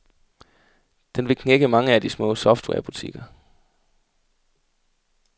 Den vil knække mange af de små softwarebutikker.